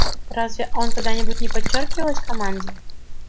разве он когда-нибудь не подчёркивалась команде